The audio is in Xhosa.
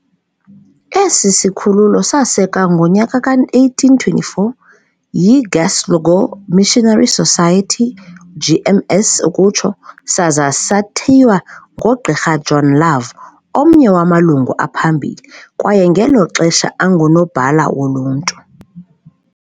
Esi sikhululo sasekwa ngonyaka ka-1824 yiGlasgow Missionary Society, GMS, saza sathiywa ngoGqr John Love, omnye wamalungu aphambili, kwaye ngelo xesha angunobhala woluntu.